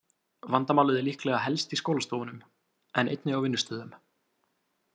Vandamálið er líklega helst í skólastofnunum, en einnig á vinnustöðum.